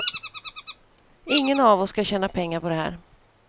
Ingen av oss ska tjäna pengar på det här.